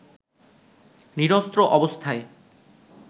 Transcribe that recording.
নিরস্ত্র অবস্থায়